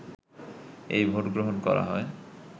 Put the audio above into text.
এই ভোটগ্রহণ করা হয়